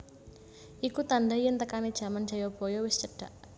Iku tandha yen tekane jaman Jayabaya wis cedhak